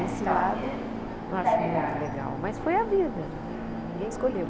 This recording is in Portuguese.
Esse lado eu não acho muito legal, mas foi a vida, ninguém escolheu.